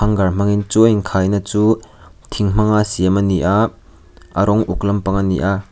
gar hmangin chu a in khaina chu thing hmanga siam a ni a a rawng uk lampang a ni a.